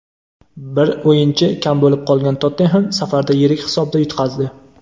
Bir o‘yinchi kam bo‘lib qolgan "Tottenhem" safarda yirik hisobda yutqazdi.